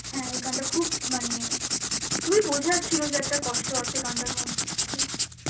হ্যাঁ এই গানটা খুব মানে খুবই বোঝার ছিল যে একটা কষ্ট আছে গানটার মধ্যে.